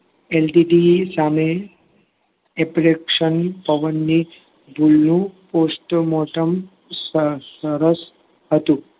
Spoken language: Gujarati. NTT સામે ની ભૂલનું postmortem સરસ હતું.